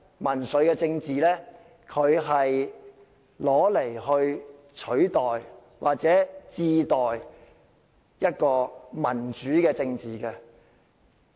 民粹政治往後是用來取代或民主政治。